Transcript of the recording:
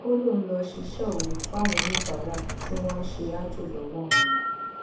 ó lóun lọọ ṣíṣe òru fáwọn oníbàárà tí wọn ń ṣe aájò lọwọ òun ni